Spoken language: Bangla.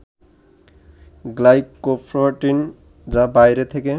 গ্লাইকোপ্রোটিন যা বাইরে থেকে